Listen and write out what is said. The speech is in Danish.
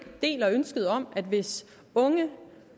deler ønsket om at hvis unge